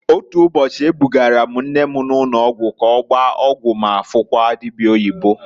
Otu ụbọchị, e bugara m nne m ụnọgwụ k'ọgbaa ọgwụ ma fukwuo dibia oyibo.